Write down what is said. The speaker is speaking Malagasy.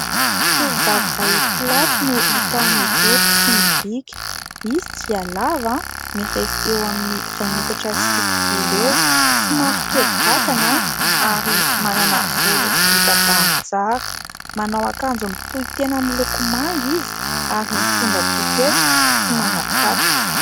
Tovovavy iray mpilatro no hita mijoro sy mibika : izy dia lava, mirefy eo amin'ny iray metatra sy fitopolo eo ; somary kely vatana ary manana volo vita bango tsara. Manao akanjo mitohy tena miloko manga izy ary mitondra pôketra sy manao kapa.